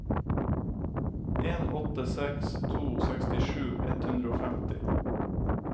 en åtte seks to sekstisju ett hundre og femti